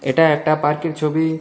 এটা একটা পার্কের ছবি .